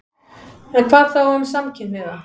En hvað þá um samkynhneigða?